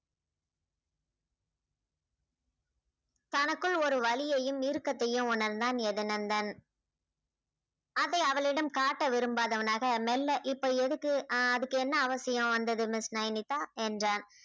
தனக்குள் ஒரு வலியையும் இருக்கத்தையும் உணர்ந்தான் யதுநந்தன் அத அவளிடம் காட்ட விரும்பாதவனாக மெல்ல இப்ப எதுக்கு அஹ் அதுக்கு என்ன அவசியம் வந்தது miss நைனிதா என்றான்